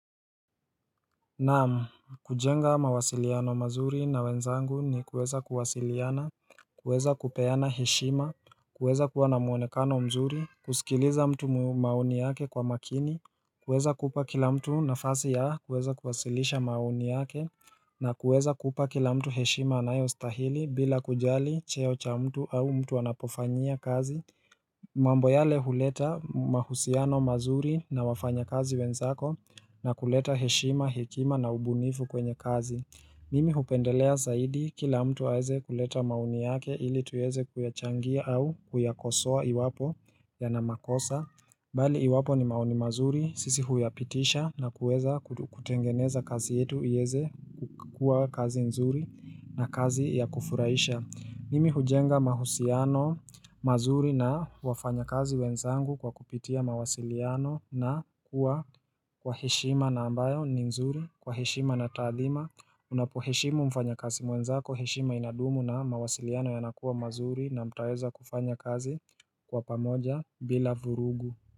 Naam kujenga mawasiliano mazuri na wenzangu ni kuweza kuwasiliana kuweza kupeana heshima kuweza kuwa na muonekano mzuri kusikiliza mtu maoni yake kwa makini kuweza kupakila mtu nafasi yaa kuweza kuwasilisha maoni yake na kuweza kupa, kila mtu heshima anayo stahili bila kujali cheo cha mtu au mtu anapofanyia kazi mambo yale huleta mahusiano mazuri na wafanya kazi wenzako na kuleta heshima, hekima na ubunifu kwenye kazi Mimi hupendelea zaidi kila mtu aweze kuleta maoni yake ili tuweze kuyachangia au kuyakosoa iwapo ya na makosa Bali iwapo ni maoni mazuri sisi huyapitisha na kuweza kutengeneza kazi yetu iweze kukua kazi nzuri na kazi ya kufurahisha Mimi hujenga mahusiano mazuri na wafanya kazi wenzangu kwa kupitia mawasiliano na kuwa kwa heshima na ambayo ni mzuri kwa heshima na taadhima Unapoheshimu mfanyakazi mwenzako heshima inadumu na mawasiliano yanakuwa mazuri na mtaweza kufanya kazi kwa pamoja bila vurugu.